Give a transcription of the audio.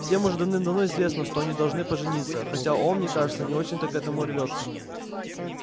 всем уже давным-давно известно что они должны пожениться хотя он мне кажется не очень-то к этому рвётся